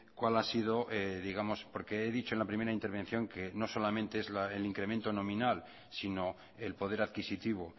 cuál ha sido digamos porque he dicho en la primera intervención que no solamente es el incremento nominal sino el poder adquisitivo